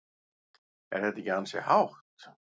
Er þetta ekki ansi hátt?